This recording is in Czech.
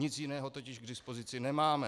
Nic jiného totiž k dispozici nemáme.